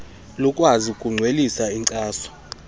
lukwazi ukudwelisa inkcaso